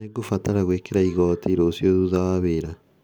Nĩngũbatara gwĩkĩra igoti, rũciũ thutha wa wĩra.